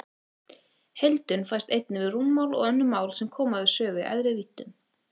Heildun fæst einnig við rúmmál og önnur mál sem koma við sögu í æðri víddum.